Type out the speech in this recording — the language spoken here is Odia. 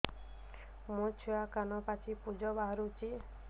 ମୋ ଛୁଆ କାନ ପାଚି ପୂଜ ବାହାରୁଚି